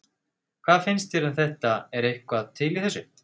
Hvað finnst þér um þetta er eitthvað til í þessu?